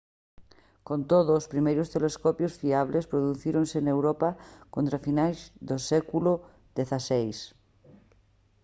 con todo os primeiros telescopios fiables producíronse en europa contra finais do século xvi